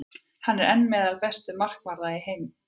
Hann er enn meðal bestu markvarða heims.